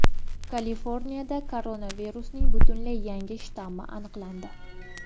Kaliforniyada koronavirusning butunlay yangi shtammi aniqlandi.